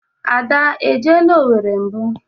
Ada e jeela Owere mbụ?